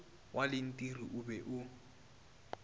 wa lentiri o be o